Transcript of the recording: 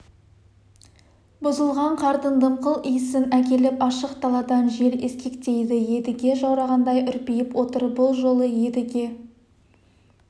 бұзылған қардың дымқыл иісін әкеліп ашық даладан жел ескектейді едіге жаурағандай үрпиіп отыр бұл жолы едіге